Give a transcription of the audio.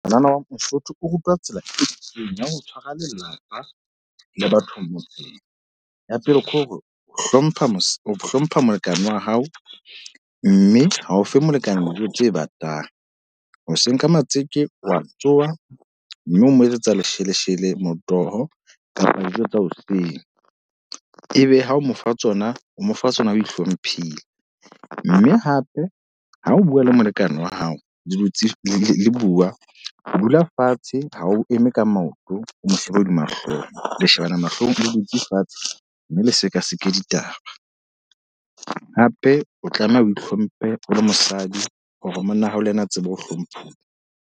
Ngwanana wa mosotho o rutwa tsela e lokileng ya ho tshwara lelapa le batho ba motseng. Ya pele, ke hore o hlompha ho hlompha molekane wa hao. Mme ha o fe molekane dijo tse batang. Hoseng ka matjeke wa tsoha, mme o mo etsetsa lesheleshele, motoho kapa dijo tsa hoseng. E be ha o mo fa tsona o mo fa tsona o ihlomphile. Mme hape ha o bua le molekane wa hao le dutse le bua, o dula fatshe ha o eme ka maoto. O mo shebe hodima hlooho, le shebana mahlong o dutse fatshe. Mme le seka seke ditaba. Hape o tlameha o ihlomphe o le mosadi hore monna ha o le ena a tsebe ho hlomphuwa.